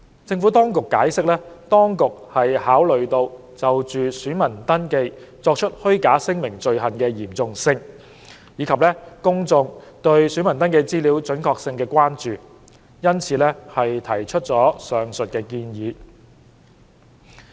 政府當局解釋，當局考慮到就選民登記作出虛假聲明的罪行的嚴重性，以及公眾對選民登記資料準確性的關注，因此提出了上述建議。